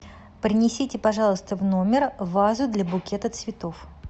принесите пожалуйста в номер вазу для букета цветов